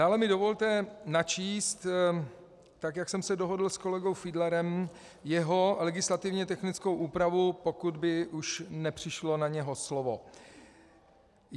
Dále mi dovolte načíst, tak jak jsem se dohodl s kolegou Fiedlerem, jeho legislativně technickou úpravu, pokud už by nepřišlo na něho slovo.